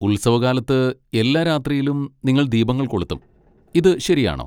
ഉത്സവകാലത്ത് എല്ലാ രാത്രിയിലും നിങ്ങൾ ദീപങ്ങൾ കൊളുത്തും, ഇത് ശരിയാണോ?